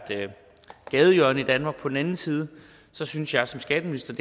gadehjørne i danmark på den anden side synes jeg som skatteminister